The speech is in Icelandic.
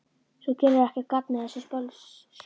Þú gerir ekkert gagn með þessu bölsóti,